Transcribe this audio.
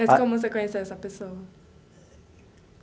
Mas como você conheceu essa pessoa?